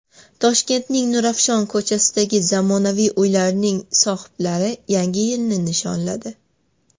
Toshkentning Nurafshon ko‘chasidagi zamonaviy uylarning sohiblari Yangi yilni nishonladi.